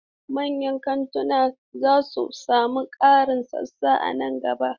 Manyan kantuna za su sami ƙarin sassa a nan gaba.